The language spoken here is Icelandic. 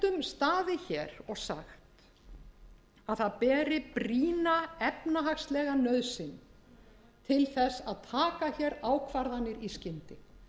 staðið hér og sagt að það beri brýna efnahagslega nauðsyn til þess að taka hér ákvarðanir í skyndi